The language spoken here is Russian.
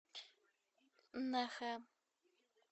нэхэ